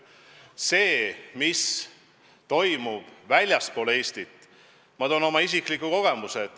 Mis puutub sellesse, mis toimub väljaspool Eestit, siis ma toon oma isikliku kogemuse.